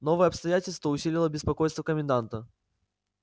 новое обстоятельство усилило беспокойство коменданта